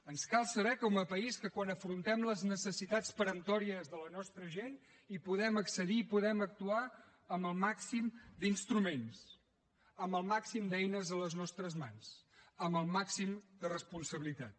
ens cal saber com a país que quan afrontem les necessitats peremptòries de la nostra gent hi podem accedir i hi podem actuar amb el màxim d’instruments amb el màxim d’eines a les nostres mans amb el màxim de responsabilitat